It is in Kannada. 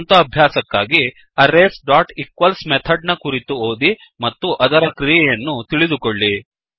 ಸ್ವಂತ ಅಭ್ಯಾಸಕ್ಕಾಗಿ arraysಈಕ್ವಲ್ಸ್ ಮೆಥಡ್ ನ ಕುರಿತು ಓದಿ ಮತ್ತು ಅದರ ಕ್ರಿಯೆಯನ್ನು ತಿಳಿದುಕೊಳ್ಳಿ